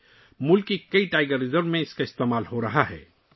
اسے ملک کے کئی ٹائیگر ریزرو میں استعمال کیا جا رہا ہے